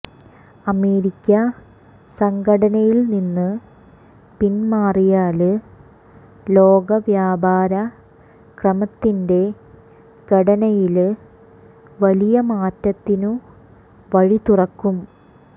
America സംഘടനയില്നിന്ന് പിന്മാറിയാല് ലോക വ്യാപാര ക്രമത്തിന്റെ ഘടനയില് വലിയ മാറ്റത്തിനു വഴിതുറക്കും